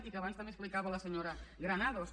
i que abans també explicava la senyora granados